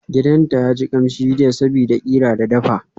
Gidanta yaji kamshi jiya sabida qira da ta dafa.